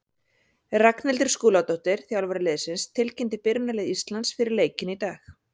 Ragnhildur Skúladóttir, þjálfari liðsins, tilkynnti byrjunarlið Íslands fyrir leikinn í dag.